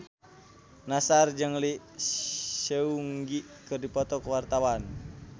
Nassar jeung Lee Seung Gi keur dipoto ku wartawan